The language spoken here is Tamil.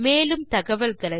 மேலும் தகவல்களுக்கு